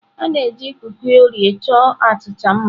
A na-eji kuki Oreo chọọ achịcha mma.